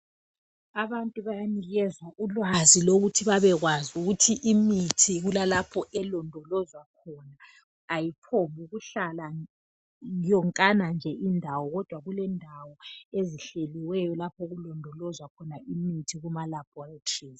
Abantu bayanikezwa ulwazi lokuthi babekwazi ukuthi imithi kulalapho elondolozwa khona ayiphombukuhlala yonkana nje indawo kodwa kulendawo ezihleliweyo okulondolozwa khona imithi kumalaboratories.